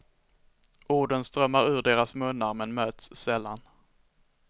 Orden strömmar ur deras munnar men möts sällan.